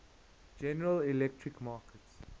general electric markets